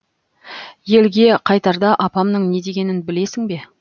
елге қайтарда апамның не дегенін білесің бе